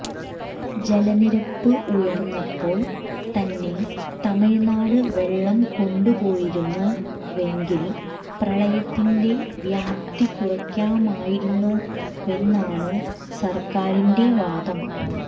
ജലനിരപ്പ് ഉയർന്നപ്പോൾ തന്നെ തമിഴ്നാട് വെളളം കൊണ്ടുപോയിരുന്നുവെങ്കിൽ പ്രളയത്തിന്റെ വ്യാപ്തി കുറയ്ക്കാമായിരുന്നുവെന്നാണ് സർക്കാരിന്റെ വാദം